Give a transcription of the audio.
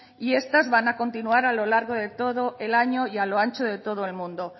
y estas van a continuar a lo largo de todo el año y a lo ancho de todo el mundo